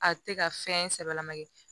A tɛ ka fɛn sɛbɛlama kɛ